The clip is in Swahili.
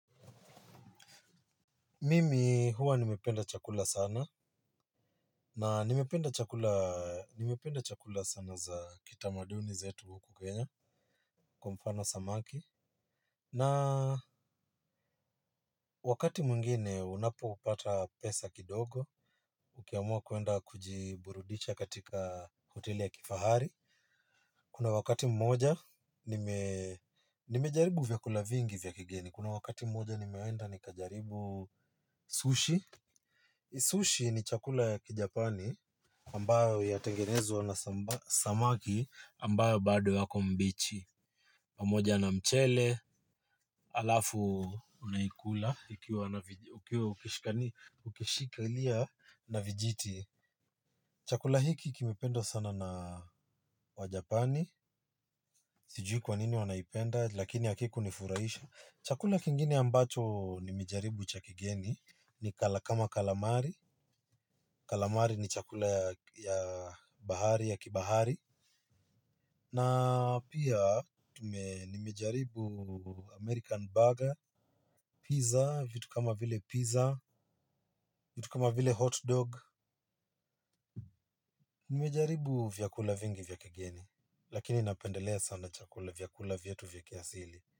Mimi huwa nimependa chakula sana. Na nimependa chakula sana za kitamaduni zaetu huku Kenya. Kwa mfano samaki. Na wakati mwngine unapo pata pesa kidogo. Ukiamua kwenda kujiburudisha katika hoteli ya kifahari. Kuna wakati mmoja nimejaribu vyakula vingi vyakigeni. Kuna wakati mmoja nimeenda nikajaribu sushi. Sushi ni chakula ya kijapani. Ambayo yatengenezwa na samaki ambao bado wako mbichi pamoja na mchele halafu unaikula ukiwa ukishikilia na vijiti chakula hiki kimependwa sana na wajapani sijui kwanini wanaipenda lakini hakikunifurahisha chakula kingine ambacho ni mejaribu cha kigeni ni kala kama kalamari kalamari ni chakula ya bahari ya kibahari na pia nimejaribu american bugger pizza vitu kama vile pizza vitu mata vile hot dog. Nimejaribu vyakula vingi vya kigeni. Lakini napendelea sana chakula vyakula vyetu vya kiasili.